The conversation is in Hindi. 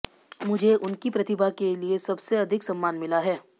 मुझे उनकी प्रतिभा के लिए सबसे अधिक सम्मान मिला है